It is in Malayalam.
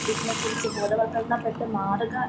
ഇതിനെ കുറിച്ച് ബോധവല്‍ക്കരണപ്പെട്ടു മാറുക